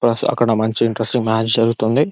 First అక్కడ మంచి interesting match జరుగుతుంది.